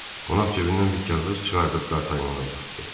Qonaq cibindən bir kağız çıxarıb Dartanyana uzatdı.